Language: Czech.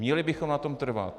Měli bychom na tom trvat.